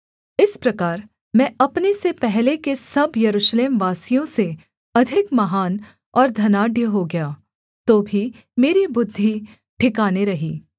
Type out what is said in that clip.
इस प्रकार मैं अपने से पहले के सब यरूशलेमवासियों से अधिक महान और धनाढ्य हो गया तो भी मेरी बुद्धि ठिकाने रही